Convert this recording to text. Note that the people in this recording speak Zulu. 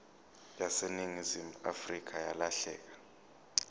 yaseningizimu afrika yalahleka